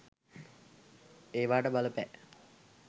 ඒවාට බලපෑ